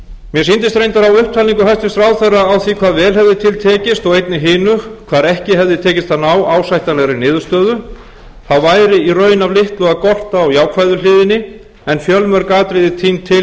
upptalningu hæstvirtur ráðherra á því hvað vel hefði til tekist og einnig hinu hvar ekki hefði tekist að ná ásættanlegri niðurstöðu þá væri í raun af litlu að gorta á jákvæðu hliðinni en fjölmörg atriði tínd til